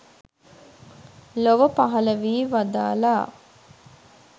ලොව පහළ වී වදාළා.